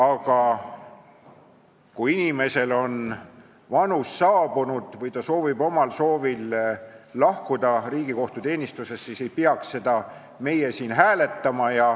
Aga kui inimesel on see vanus käes või ta soovib omal soovil Riigikohtu teenistusest lahkuda, siis ei peaks meie siin seda hääletama.